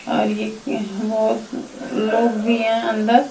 और एक यहाँ बहोत लोग भीं हैं अंदर--